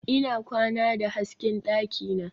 Ina kwana da hasken dakina.